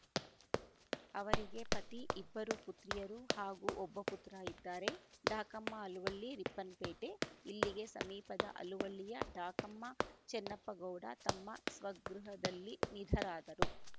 ಅವರಿಗೆ ಪತಿ ಇಬ್ಬರು ಪುತ್ರಿಯರು ಹಾಗೂ ಒಬ್ಬ ಪುತ್ರ ಇದ್ದಾರೆ ಡಾಕಮ್ಮ ಅಲುವಳ್ಳಿ ರಿಪ್ಪನ್‌ಪೇಟೆ ಇಲ್ಲಿಗೆ ಸಮೀಪದ ಅಲುವಳ್ಳಿಯ ಡಾಕಮ್ಮ ಚನ್ನಪ್ಪಗೌಡ ತಮ್ಮ ಸ್ವಗೃಹದಲ್ಲಿ ನಿಧರಾದರು